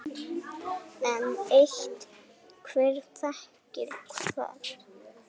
Enn eitt: Hver þekkir hvern?